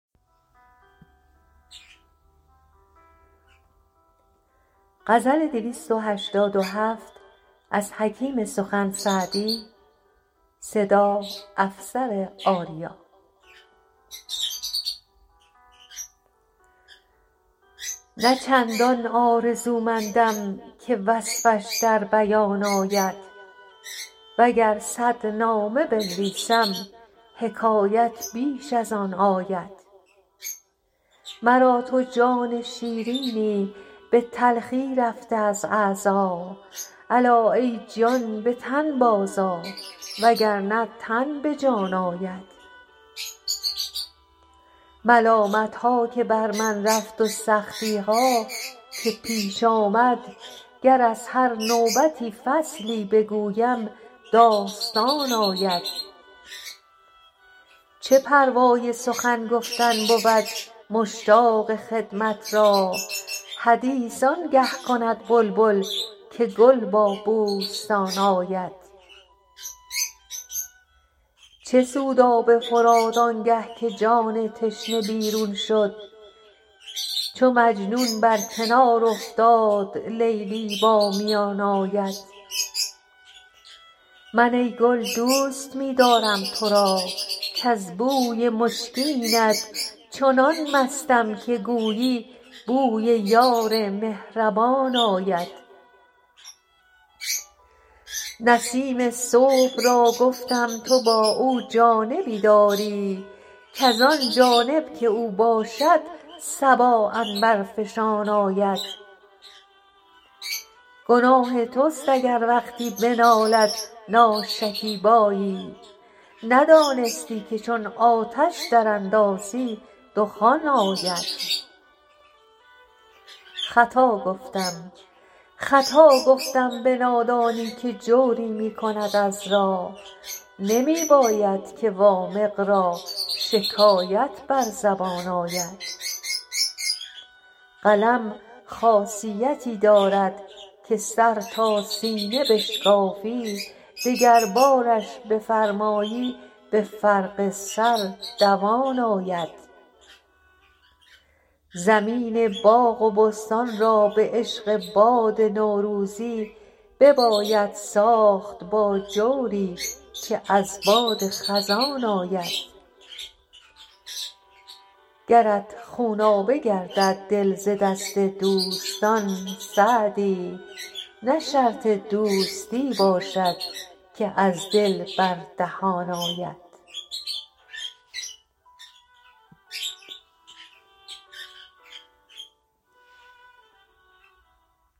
نه چندان آرزومندم که وصفش در بیان آید و گر صد نامه بنویسم حکایت بیش از آن آید مرا تو جان شیرینی به تلخی رفته از اعضا الا ای جان به تن بازآ و گر نه تن به جان آید ملامت ها که بر من رفت و سختی ها که پیش آمد گر از هر نوبتی فصلی بگویم داستان آید چه پروای سخن گفتن بود مشتاق خدمت را حدیث آن گه کند بلبل که گل با بوستان آید چه سود آب فرات آن گه که جان تشنه بیرون شد چو مجنون بر کنار افتاد لیلی با میان آید من ای گل دوست می دارم تو را کز بوی مشکینت چنان مستم که گویی بوی یار مهربان آید نسیم صبح را گفتم تو با او جانبی داری کز آن جانب که او باشد صبا عنبرفشان آید گناه توست اگر وقتی بنالد ناشکیبایی ندانستی که چون آتش دراندازی دخان آید خطا گفتم به نادانی که جوری می کند عذرا نمی باید که وامق را شکایت بر زبان آید قلم خاصیتی دارد که سر تا سینه بشکافی دگربارش بفرمایی به فرق سر دوان آید زمین باغ و بستان را به عشق باد نوروزی بباید ساخت با جوری که از باد خزان آید گرت خونابه گردد دل ز دست دوستان سعدی نه شرط دوستی باشد که از دل بر دهان آید